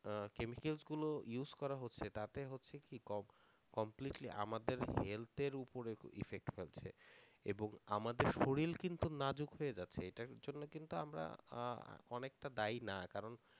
আহ chemicals গুলো use করা হচ্ছে তাতে হচ্ছে কি ক~ completely আমাদের health এর উপরে effect ফেলতেছে এবং আমাদের শরীর কিন্তু নাজুক হয়ে যাচ্ছে, এইটার জন্যে কিন্তু আমরা আহ অনেকটা দায়ী না কারণ